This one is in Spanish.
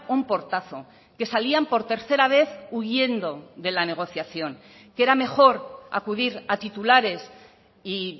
un portazo que salían por tercera vez huyendo de la negociación que era mejor acudir a titulares y